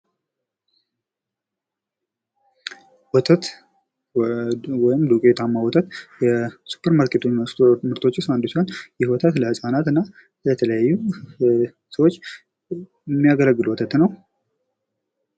ወተት ወይም ዱቄታማ ወተት ከሱፐር ማርኬት ምርቶች ዉስጥ አንዱ ሲሆን ይህም ወተት ለህጻናት እና ለተለያዩ ሰዎች የሚያገለግል ወተት ነው።